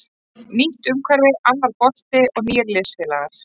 Nýtt umhverfi, annar bolti og nýir liðsfélagar.